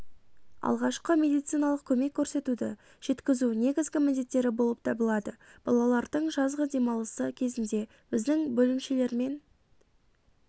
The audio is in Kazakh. алғашқы медициналық көмек көрсетуді жеткізу негізгі міндеттері болып табылады балалардың жазғы демалысы кезінде біздің бөлімшелермен